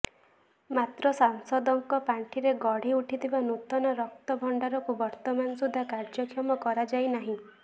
ମାତ୍ର ସାଂସଦଙ୍କ ପାଣ୍ଠିରେ ଗଢ଼ି ଉଠିଥିବା ନୂତନ ରକ୍ତ ଭଣ୍ଡାରକୁ ବର୍ତ୍ତମାନ ସୁଦ୍ଧା କାର୍ଯ୍ୟକ୍ଷମ କରାଯାଇନାହିଁ